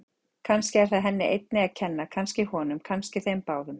Kannski er það henni einni að kenna, kannski honum, kannski þeim báðum.